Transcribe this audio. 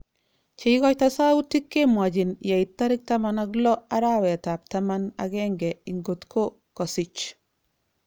Cheikoito soutik kemwochin yeit 16 arawet tab taman agenge inkotko kosich.